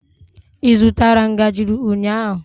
Ị zụtara ngaji ụnyaahụ?